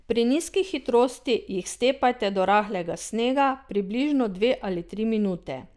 Pri nizki hitrosti jih stepajte do rahlega snega, približno dve ali tri minute.